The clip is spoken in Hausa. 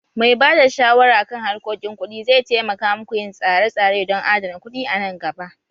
Mai ba da shawara kan harkokin kuɗi zai taimaka muku yin tsare-tsare don adana kuɗi a nan gaba